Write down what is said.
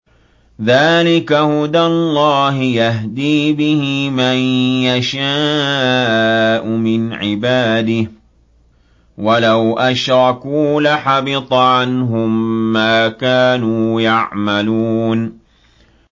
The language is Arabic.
ذَٰلِكَ هُدَى اللَّهِ يَهْدِي بِهِ مَن يَشَاءُ مِنْ عِبَادِهِ ۚ وَلَوْ أَشْرَكُوا لَحَبِطَ عَنْهُم مَّا كَانُوا يَعْمَلُونَ